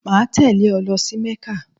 Máa tèlé e lo sí Mékà